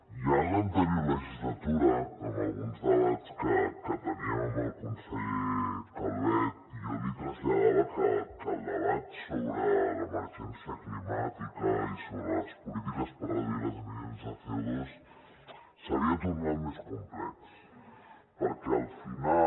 ja en l’anterior legislatura en alguns debats que teníem amb el conseller calvet jo li traslladava que el debat sobre l’emergència climàtica i sobre les polítiques per reduir les emissions de cofinal